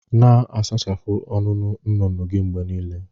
Na-asachapụ ọnụnụ nnụnụ gị mgbe niile